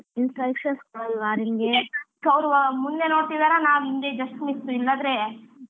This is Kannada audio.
ಮುಂದೆ ನೋಡ್ತಿದ್ದಾರ ನಾವ್ ಹಿಂದೆ just miss ಇಲ್ಲದ್ರೆ,